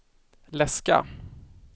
läska